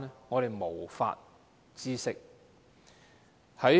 我們無法知悉。